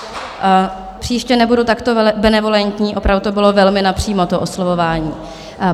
Příště nebudu takto benevolentní, opravdu to bylo velmi napřímo, to oslovování.